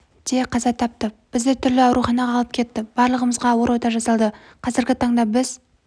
де қаза тапты бізді түрлі ауруханаға алып кетті барлығымызға ауыр ота жасалды қазіргі таңда біз